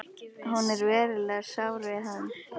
Hún er verulega sár við hann.